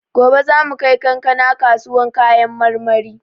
Gobe za mu kai kankana kasuwan kayan marmari.